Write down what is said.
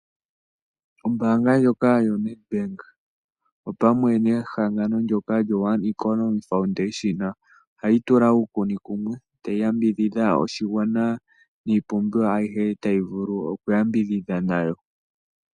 Ombaanga ndjoka yo Nedbank opamwe nehangano ndyono lyo One Economy Foundation ohayi tula uukuni kumwe etayi yambidhidha oshigwana niipumbiwa ayihe tayi vulu oku ya mbidhidha nayo.